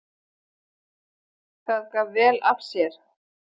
Það gaf vel af sér.